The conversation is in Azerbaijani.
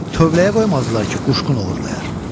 Tövləyə qoymazdılar ki, quşqun oğurlayar.